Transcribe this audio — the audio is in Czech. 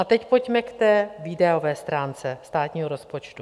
A teď pojďme k té výdajové stránce státního rozpočtu.